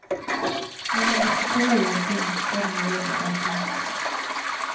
Når man diskuterer en ting, så skal man gjøre det saklig.